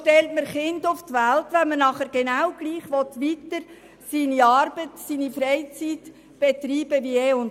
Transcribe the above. Warum stellt man Kinder auf die Welt, wenn man seine Arbeit und seine Freizeit wie bisher betreiben will?